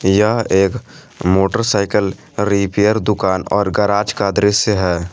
यह एक motorcycle repair दुकान और गराज का दृश्य है।